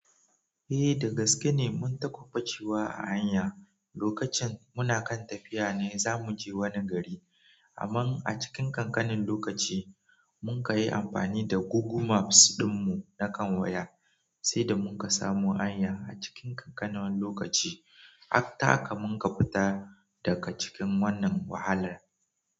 Eh da gaske ne, mun taba bacewa a hanya lokacin muna kan tafiya ne zamu je wani gari. Ammann a cikin kankanin lokaci munka yi amfani da Google Maps ɗin mu na kan waya, sai da munka samu hanya a cikin kankanin lokaci, har taka munka fita daga cikin wannan wahala.